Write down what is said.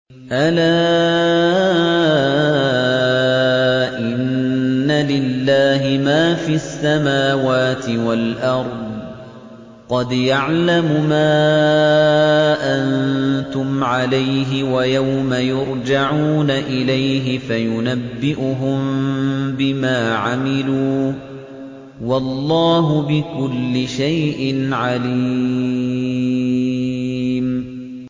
أَلَا إِنَّ لِلَّهِ مَا فِي السَّمَاوَاتِ وَالْأَرْضِ ۖ قَدْ يَعْلَمُ مَا أَنتُمْ عَلَيْهِ وَيَوْمَ يُرْجَعُونَ إِلَيْهِ فَيُنَبِّئُهُم بِمَا عَمِلُوا ۗ وَاللَّهُ بِكُلِّ شَيْءٍ عَلِيمٌ